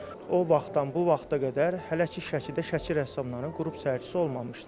O vaxtdan bu vaxta qədər hələ ki Şəkidə Şəki rəssamlarının qrup sərgisi olmamışdı.